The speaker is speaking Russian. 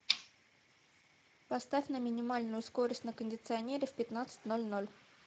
поставь на минимальную скорость на кондиционере в пятнадцать ноль ноль